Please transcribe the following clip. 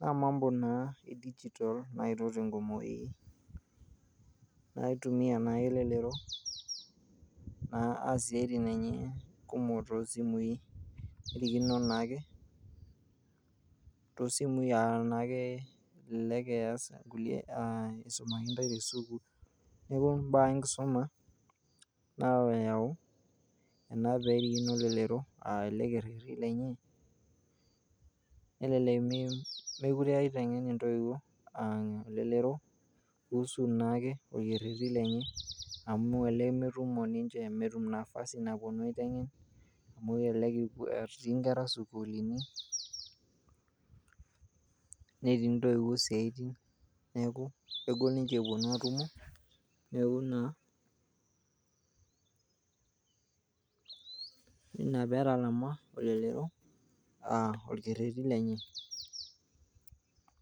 naa mambo naa e digital naetuo tenkumoki naitumia naake elelero naa asie isiaitin enye kumok tosimui nerikino naaketosimui uh, naake elelek iyas inkulie isumaki intae tesukul neeku imbaa enkisuma nayau ena perikino elelero uh, ele kerreti lenye nelelek mikure eiteng'en intoiwuo uh elelero kuhusu naake orkerreti lenye amu elelek metumo ninche metum nafasi naponu aiteng'en amu kelelek etii inkera isukulini netii intoiwuo isiaitin neeku kegol ninche eponu atumo neeku naaina petalama olelero orkerreti lenye.